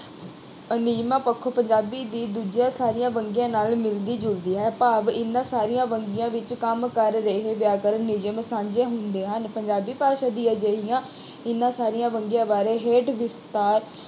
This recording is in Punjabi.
ਨਿਯਮਾਂ ਪੱਖੋਂ ਪੰਜਾਬੀ ਦੀ ਦੂਜੀਆਂ ਸਾਰੀਆਂ ਵੰਨਗੀਆਂ ਨਾਲ ਮਿਲਦੀ ਜੁਲਦੀ ਹੈ। ਭਾਵ ਇਹਨਾਂ ਸਾਰੀਆਂ ਵੰਨਗੀਆਂ ਵਿੱਚ ਕੰਮ ਕਰ ਰਹੇ ਵਿਆਕਰਨ ਨਿਯਮ ਸਾਂਝੇ ਹੁੰਦੇ ਹਨ ਪੰਜਾਬੀ ਭਾਸ਼ਾ ਦੀ ਅਜਿਹੀਆਂ ਇਹਨਾਂ ਸਾਰੀਆਂ ਵੰਨਗੀਆਂ ਬਾਰੇ ਹੇਠ ਵਿਸਥਾਰ